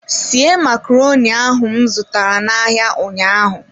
Sie macaroni ahu m zụtara n'ahịa ụnyaahụ.